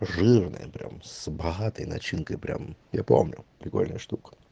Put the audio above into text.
жирная прям с богатой начинкой прям я помню прикольная штука